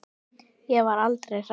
Ég var aldrei hrædd.